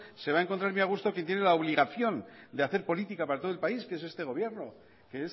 se va a encontrar muy a gusto quien tiene la obligación de hacer política para todo el país que es este gobierno que